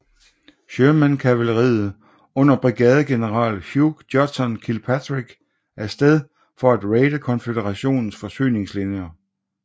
Sherman kavaleriet under brigadegeneral Hugh Judson Kilpatrick af sted for at raide konføderationens forsyningslinjer